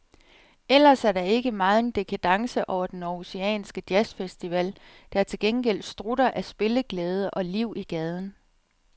Ellers er der ikke megen dekadence over den århusianske jazzfestival, der til gengæld strutter af spilleglæde og liv i gaden.